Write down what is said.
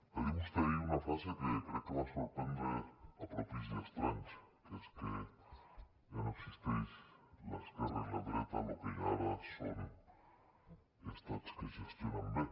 va dir vostè ahir una frase que crec que va sorprendre a propis i estranys que és que ja no existeix l’esquerra i la dreta lo que hi ha ara són estats que gestionen bé